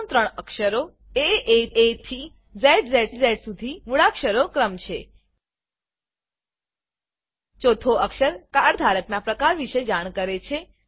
પ્રથમ ત્રણ અક્ષરો AAAથી ઝ્ઝ સુધી મૂળાક્ષરો ક્રમ છે ચોથો અક્ષર કાર્ડ ધારકના પ્રકાર વિશે જાણ કરે છે